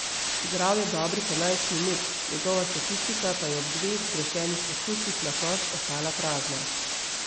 Igral je dobrih enajst minut, njegova statistika pa je ob dveh zgrešenih poskusih na koš ostala prazna.